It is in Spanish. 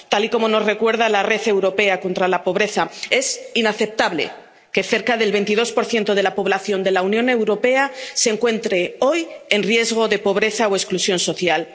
Tal y como nos recuerda la Red Europea de Lucha contra la Pobreza, es inaceptable que cerca del 22 de la población de la Unión Europea se encuentre hoy en riesgo de pobreza o exclusión social.